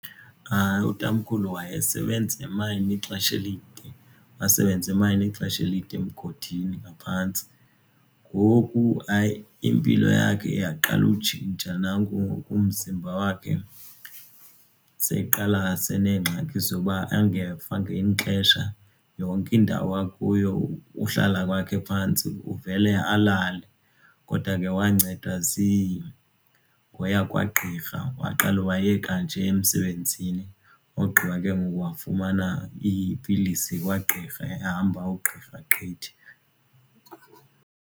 Hayi, utamkhulu wayesebenza emayini ixesha elide wasebenza emayini ixesha elide emgodini ngaphantsi. Ngoku hayi impilo yakhe yaqala kutshintsha nanku ngoku umzimba wakhe sekuqala senengxaki zoba engeva ngelinye xesha yonke indawo akuyo uhlala kwakhe phantsi uvele alale. Kodwa ke wancedwa ngoya kwagqirha waqala wayeka nje emsebenzini ogqiba ke ngoku wafumana iipilisi kwagqirha ehamba ugqirha gqithi.